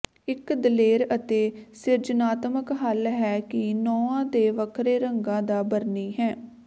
ਇੱਕ ਦਲੇਰ ਅਤੇ ਸਿਰਜਣਾਤਮਕ ਹੱਲ ਹੈ ਕਿ ਨਹੁੰਾਂ ਤੇ ਵੱਖਰੇ ਰੰਗਾਂ ਦਾ ਬਰਨੀ ਹੈ